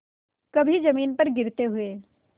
कभी जमीन पर गिरते हुए